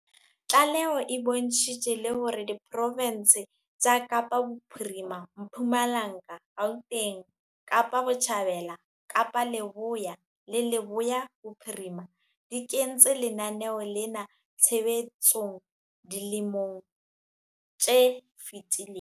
Tlaleho e bontshitse le hore diprofense tsa Kapa Bophirima, Mpumalanga, Gauteng, Kapa Botjhabela, Kapa Leboya le Leboya Bophirima di kentse lenaneo lena tshebetsong dilemong tse fetileng.